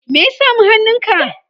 me ya sami hannunka?